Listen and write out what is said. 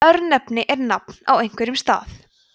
örnefni er nafn á einhverjum stað